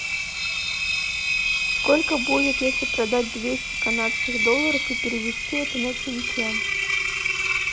сколько будет если продать двести канадских долларов и перевести это на тенге